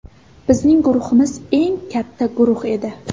Bizning guruhimiz eng katta guruh edi.